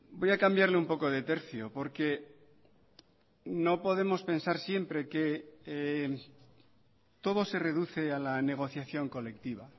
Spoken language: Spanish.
voy a cambiarle un poco de tercio porque no podemos pensar siempre que todo se reduce a la negociación colectiva